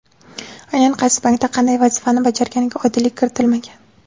Aynan qaysi bankda qanday vazifani bajarganiga oydinlik kiritilmagan.